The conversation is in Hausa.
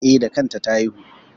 E, da kanta ta haihu.